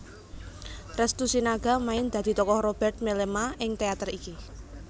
Restu Sinaga main dadi tokoh Robert Mellema ing teater iki